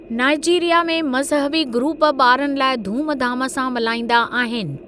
Nigeria में मज़हबी group ॿारनि लाइ धूमधाम सां मल्हाईंदा आहिनि।